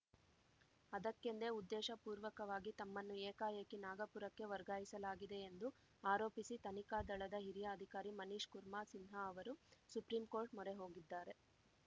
ಅದಕ್ಕೆಂದೇ ಉದ್ದೇಶಪೂರ್ವಕವಾಗಿ ತಮ್ಮನ್ನು ಏಕಾಏಕಿ ನಾಗಪುರಕ್ಕೆ ವರ್ಗಾಯಿಸಲಾಗಿದೆ ಎಂದು ಆರೋಪಿಸಿ ತನಿಖಾ ದಳದ ಹಿರಿಯ ಅಧಿಕಾರಿ ಮನೀಶ್‌ ಕುರ್ಮಾ ಸಿನ್ಹಾ ಅವರು ಸುಪ್ರೀಂ ಕೋರ್ಟ್‌ ಮೊರೆ ಹೋಗಿದ್ದಾರೆ